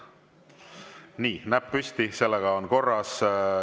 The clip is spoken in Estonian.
Nii, näpp püsti, sellega on korras.